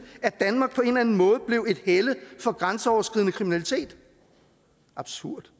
at danmark på en eller anden måde blev et helle for grænseoverskridende kriminalitet absurd